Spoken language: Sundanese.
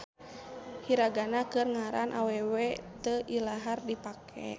Hiragana keur ngaran awewe teu ilahar dipake.